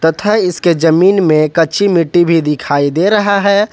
तथा इसके जमीन में कच्ची मिट्टी भी दिखाई दे रहा है।